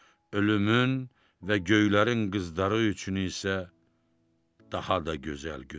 ölümün və göylərin qızları üçün isə daha da gözəl gündür.